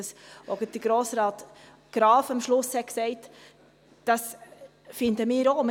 Was Grossrat Graf am Schluss gesagt hat, finden wir auch.